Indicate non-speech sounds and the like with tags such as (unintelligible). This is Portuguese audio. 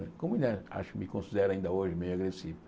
(unintelligible) Acho que me considero ainda hoje meio agressivo.